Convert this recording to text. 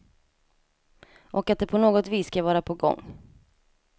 Och att de på något vis ska vara på gång.